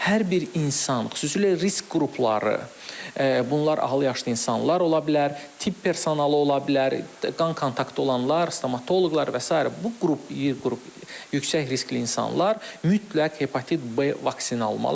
Hər bir insan, xüsusilə risk qrupları, bunlar ahıl yaşlı insanlar ola bilər, tibb personalı ola bilər, qan kontaktı olanlar, stomatoloqlar və sair, bu qrup, yüksək riskli insanlar mütləq hepatit B vaksini almalıdır.